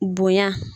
Bonya